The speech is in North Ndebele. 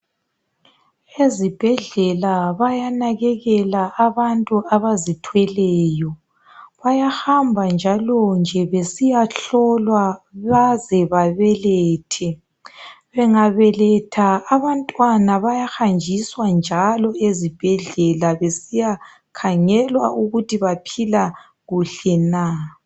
Ezibhedlela bayanakekela abantu abazithweleyo, bayahamba njalonje besiya hlolwa baze babelethe. Bengabeletha abantwana bayahanjiswa njalo ezibhedlela beaiyakhangelwa ukuthi baphila kuhle na.